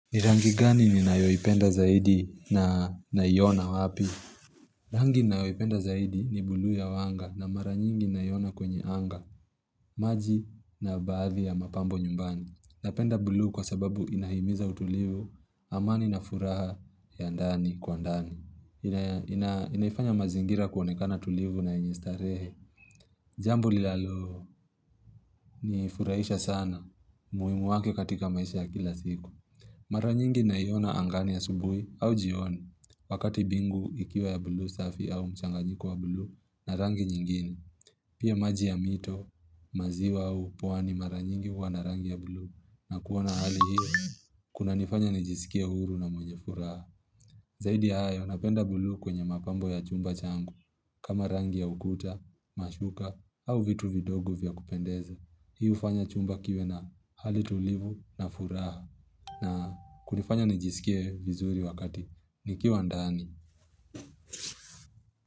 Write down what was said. Ni rangi gani ninayoipenda zaidi na naiona wapi? Rangi ninayoipenda zaidi ni buluu ya anga na mara nyingi naiona kwenye anga, maji na baadhi ya mapambo nyumbani. Napenda buluu kwa sababu inahimiza utulivu amani na furaha ya ndani kwa ndani. Inaifanya mazingira kuonekana tulivu na yenye starehe. Jambo linalo nifurahisha sana muhimu wake katika maisha ya kila siku. Mara nyingi naiona angani asubui au jioni, wakati mbingu ikiwa ya buluu safi au mchanganyiko wa buluu na rangi nyingini. Pia maji ya mito, maziwa au pwani mara nyingi huwa na rangi ya buluu na kuona hali hiyo, kuna nifanya nijisikia huru na mwenye furaha. Zaidi ya hayo napenda buluu kwenye mapambo ya chumba changu, kama rangi ya ukuta, mashuka au vitu vidogo vya kupendeza. Hii hufanya chumba kiwe na hali tulivu na furaha na kunifanya nijisikie vizuri wakati nikiwa ndani.